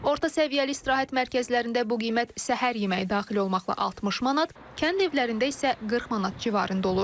Orta səviyyəli istirahət mərkəzlərində bu qiymət səhər yeməyi daxil olmaqla 60 manat, kənd evlərində isə 40 manat civarında olur.